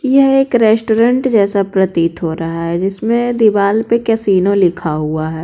यह एक रेस्टोरेंट जैसा प्रतीत हो रहा है इसमें दीवाल पे कैसीनो लिखा हुआ है।